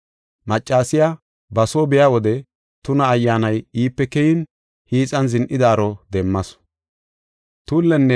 Maccasiya ba soo biya wode tuna ayyaanay iipe keyin hiixan zin7idaaro demmasu.